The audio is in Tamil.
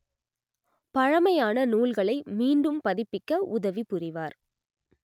பழமையான நூல்களை மீண்டும் பதிப்பிக்க உதவிபுரிவார்